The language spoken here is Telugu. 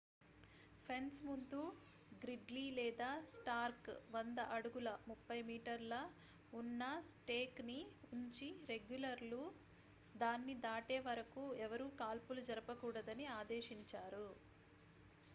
ఫెన్స్ ముందు గ్రిడ్లీ లేదా స్టార్క్ 100 అడుగుల 30 మీ ఉన్న స్టేక్ ని ఉంచి రెగ్యులర్లు దాన్ని దాటే వరకు ఎవరూ కాల్పులు జరపకూడదని ఆదేశించారు